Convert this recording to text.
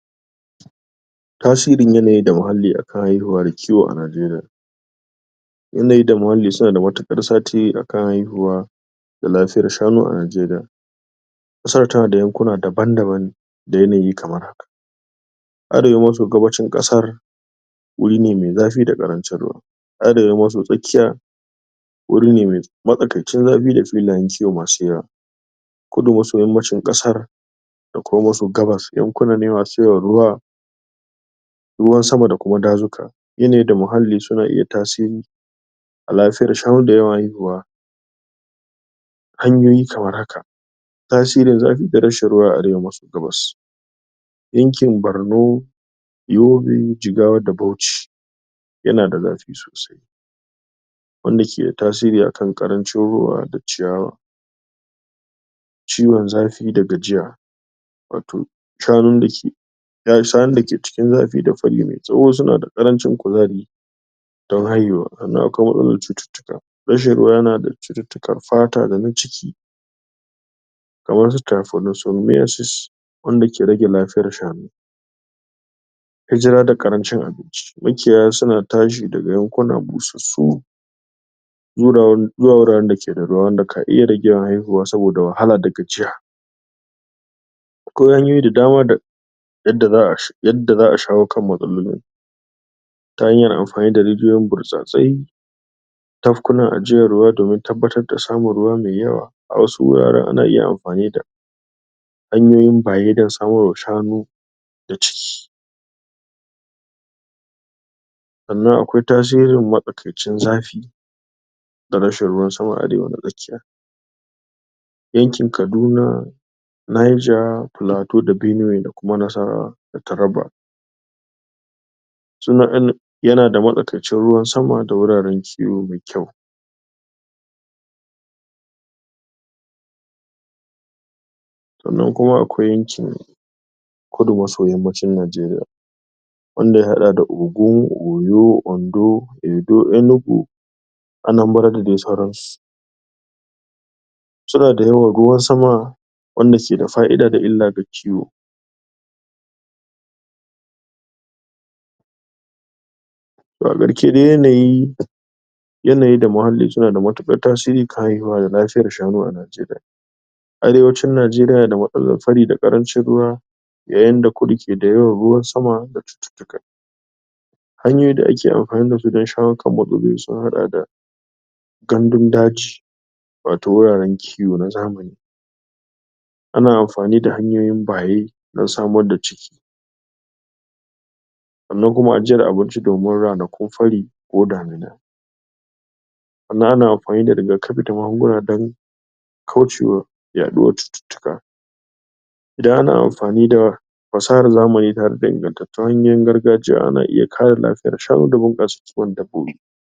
tasirin yanayi da muhalli akan haihuwa da ciwo a Najeriya yanayi da muhalli suna da matuƙar satiri akan haihuwa da lafiyar shanu a Najeriya ƙasar tana da yankuna daban daban ne da yanayi kamar haka arewa maso gabacin ƙasar wuri ne me zafi da ƙarancin ruwa arewa maso tsakiya wuri ne me matsakaicin zafi da filayen kiwo masu yawa kudu maso yammacin ƙasa da kuma maso gabas yankuna ne masu ruwa ruwan sama da kuma dazuka yanayi da muhali suna iya tasiri a lafiyar shanu da yawan haihuwa hanyoyi kamar haka tasirin zafi da rashin ruwa a arewa maso gabas yankin Barno Yobe, Jigawa da Bauchi yana da zafi sosai wanda ke da tasiri akan ƙarancin ruwa da ciyawa ciwan zafi da gajiya wato shanun dake sa shanun dake cikin zafi da fari mai tsawo suna da ƙarancin kuzari don haihuwa sannan akwai matsalan cututtuka rashin ruwa yana datti da tikar fata da na jiki kamar su tiryfonosomiyasis wanda ke rage lafiyar shanu hijira da ƙarancin abinci makiyaya suna tashi daga yankuna sussu zura wurin zuwa wuraren dake da ruwa wanda ka iya rage haihuwa saboda wahala da gajiya akwai hanyoyi da dama da yadda za'a sha yadda za'a shawo kan matsalolin ta hanyar amfani da rijiyoyin birtsatsai tafkunan ajiyan ruwa domin tabbatar da samun ruwa mai yawa a wasu wuraren ana iya amfani da hanyoyin baye don samar wa shanu da ciki sannan akwai tasirin matsakaicin zafi da rashin ruwan sama a arewa na tsakiya yankin kaduna Nija, Pilato da Benuwe da kuma Nasarawa da Taraba? yana da matsakaicin ruwan sama da wuraren kiwo mai kyau sannan kuma akwai cin kudu maso yammacin Najeriya wanda ya haɗa da Ogun, Oyo, Ondo Edo, Enugu Anambara da dai sauransu suna da yawan ruwan sama wanda ke da fa'ida da illa ga kiwo to a ƙarke dai yanayi yanayi da muhalli suna da matuƙar tasiri kan haihuwa da lafiyar shanu a Najeriya arewacin Najeriya na da matsalan fari da ƙarancin ruwa yayin da kudu ke da yawan ruwan sama da cututtuka hanyoyi da ake ampani dasu don shawo kan matsaloli sun haɗa da gandun daji wato wuraren kiwo na zamani ana amfani da hanyoyin baye don samar da ciki sannan kuma ajiyar abinci domin ranakun fari ko damina sannan ana ampani da rigakapi da magunguna dan kaucewa yaɗuwar cututtuka idan ana amfani da pasahar zamani tare da ingantattun hanyoyin gargajiya ana iya kare lafiyar shanu da bunƙasa kiwon dabbobi